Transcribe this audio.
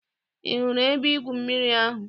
Ị hụrụ ebe-igwụ mmiri ahụ?